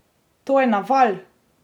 To je naval!